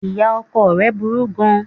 Ìya ọkọ rẹ̀ burú gan an